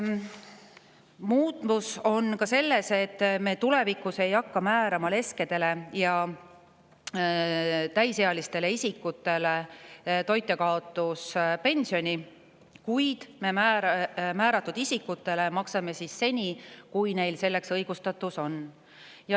Muutus on ka selles, et tulevikus me ei hakka määrama leskedele ja täisealistele isikutele toitjakaotuspensioni, kuid isikutele, kellele see on määratud, maksame seni, kui neil selleks õigustatus on.